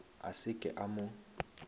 a se ke a mo